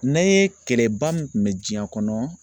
N'an ye kɛlɛba min kun bɛ diɲɛ kɔnɔ